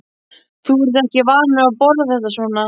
Þú ert ekki vanur að borða þetta svona